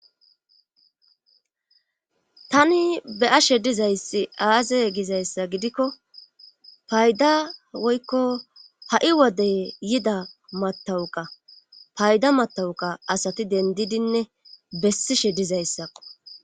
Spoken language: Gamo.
tani beyashe dizayssi aaze gizayssa gidikko payda woykko ha7i wodey yida matawuqa payda matawuqa asati dendidinne bessishe dizayssakko